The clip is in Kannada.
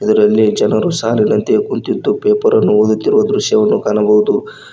ಇದರಲ್ಲಿ ಜನರು ಸಾಲಿನಂತೆ ಕುಂತಿದ್ದು ಪೇಪರ್ ಅನ್ನು ಓದುವ ದೃಶ್ಯವನ್ನು ಕಾಣಬಹುದು.